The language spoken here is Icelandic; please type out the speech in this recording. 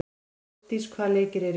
Álfdís, hvaða leikir eru í kvöld?